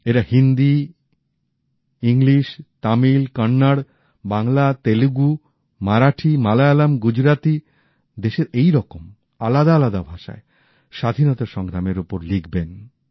এরা হিন্দি ইংলিশ তমিল কন্নড় বাংলা তেলেগু মারাঠী মালয়ালম গুজরাতী দেশের এইরকম আলাদা আলাদা ভাষায় স্বাধীনতা সংগ্রামের ওপর লিখবেন